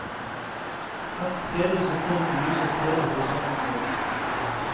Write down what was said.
Hvert tredje sekund lyses hele horisonten opp.